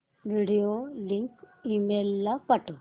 video link email ला पाठव